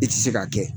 I tɛ se k'a kɛ